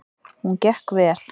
Hún gekk vel.